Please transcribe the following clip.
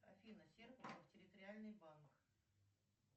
афина серпухов территориальный банк